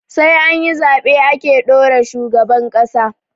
Sai anyi zaɓe ake ɗora shugaban ƙasa